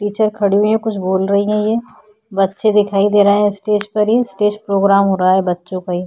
नीचे खड़ी है यह कुछ बोल रही है ये। बच्चे दिखाई दे रहे हैं स्टेज पर ही। स्टेज प्रोग्राम हो रहा है बच्चों का ये।